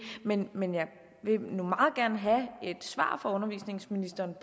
men men jeg vil meget gerne have et svar fra undervisningsministeren